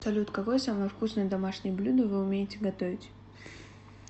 салют какое самое вкусное домашнее блюдо вы умеете готовить